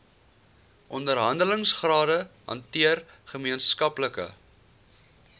onderhandelingsrade hanteer gemeenskaplike